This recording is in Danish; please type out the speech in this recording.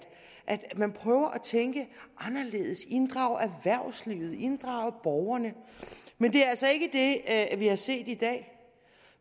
man prøver at tænke anderledes inddrage erhvervslivet inddrage borgerne men det er altså ikke det vi har set i dag